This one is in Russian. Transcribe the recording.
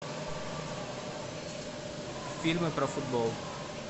фильмы про футбол